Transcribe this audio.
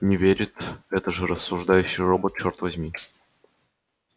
не верит это же рассуждающий робот чёрт возьми